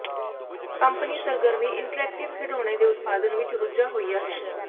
company ਸਰਗਰਮੀ interactive ਖਿਡੌਣੇ ਦੇ ਉਤਪਾਦਨ ਵਿੱਚ ਰੁੱਝਾ ਹੋਇਆ ਹੈ